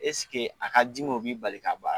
a ka dimi o b'i bali ka baa